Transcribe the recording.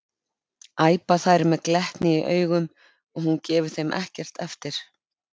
æpa þær með glettni í augunum og hún gefur þeim ekkert eftir.